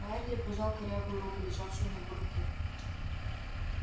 байерли пожал корявую руку лежавшую на его руке